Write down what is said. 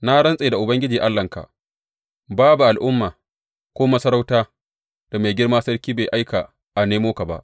Na rantse da Ubangiji Allahnka, babu al’umma ko masarauta da mai girma sarki bai aika a nemo ka ba.